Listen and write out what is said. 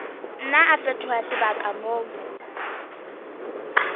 nna a fetoha sebaka moo